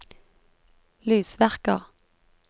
lysverker